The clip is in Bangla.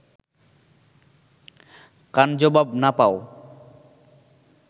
কান জবাব না পাও